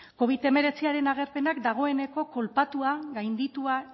covid hemeretziaren agerpenak dagoeneko kolpatua gainditua